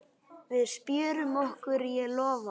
Við spjörum okkur, ég lofa.